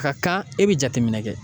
Ka kan e bɛ jateminɛ kɛ